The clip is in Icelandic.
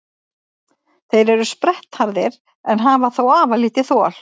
Þeir eru sprettharðir en hafa þó afar lítið þol.